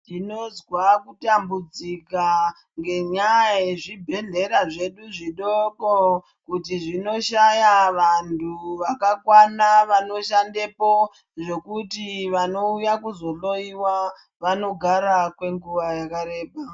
Ndinozwa kutambudzika ngenyaya yezvibhedhleya zvedu zvidoko kuti zvinoshaya vanthu vakakwana vanoshandepo zvekuti vanouya kuzohloyiwa vanogara kwenguwa yakareba.